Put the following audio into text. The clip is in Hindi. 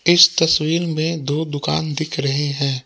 इस तस्वीर में दो दुकान दिख रहे हैं।